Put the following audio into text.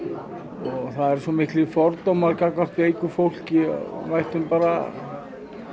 og það eru svo miklir fordómar gagnvart veiku fólki og við ættum bara